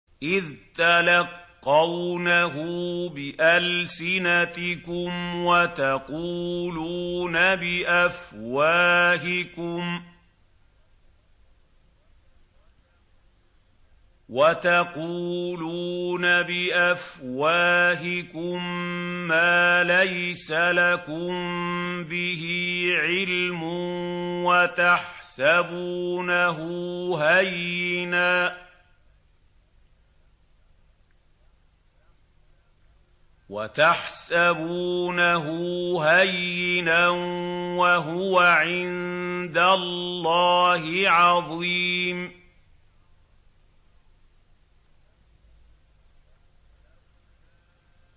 إِذْ تَلَقَّوْنَهُ بِأَلْسِنَتِكُمْ وَتَقُولُونَ بِأَفْوَاهِكُم مَّا لَيْسَ لَكُم بِهِ عِلْمٌ وَتَحْسَبُونَهُ هَيِّنًا وَهُوَ عِندَ اللَّهِ عَظِيمٌ